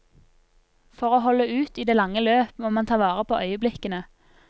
For å holde ut i det lange løp, må man ta vare på øyeblikkene.